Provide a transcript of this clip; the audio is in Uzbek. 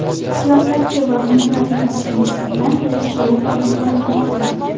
Siyosatchi va uning rafiqasiga nisbatan tekshiruv olib borilmoqda.